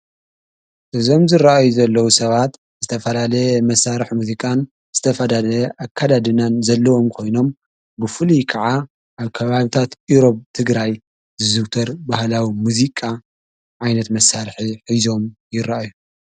እዘምዝረአዩ ዘለዉ ሰባት ዝተፈላለ መሣርሕ ሙዚቃን ዝተፋዳለ ኣካዳድናን ዘለዎም ኮይኖም ብፍል ከዓ ኣብ ከባብታት ኢሮብ ትግራይ ዝዝውተር ባህላዊ ምዙቃ ዓይነት መሣርሕ ኂዞም ይረአዮይረአዮ።